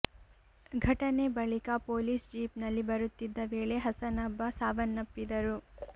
ಘಟನೆ ಬಳಿಕ police jeep ನಲ್ಲಿ ಬರುತ್ತಿದ್ದ ವೇಳೆ ಹಸನಬ್ಬ ಸಾವನ್ನಪ್ಪಿದ್ದರು